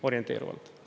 Orienteeruvalt.